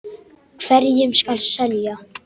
Hverjum skal selja?